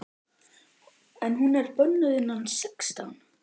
En hún er bönnuð innan sextán!